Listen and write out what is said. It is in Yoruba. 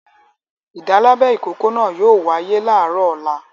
Ìdálábẹ ìkókó náà yóò wáyé láàárọ̀ ọ̀la!